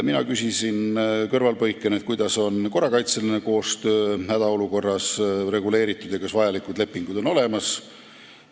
Mina küsisin kõrvalepõikena, kuidas on hädaolukorras reguleeritud korrakaitseline koostöö ja kas vajalikud lepingud on olemas.